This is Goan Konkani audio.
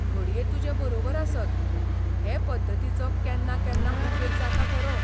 घडये तुजें बरोबर आसत, हे पद्दतीचो केन्नाकेन्ना उपेग जाता खरो.